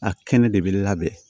A kɛnɛ de bɛ labɛn